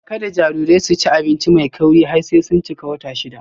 Kada jarirai su ci abinci mai kauri har sai sun cika watanni shida.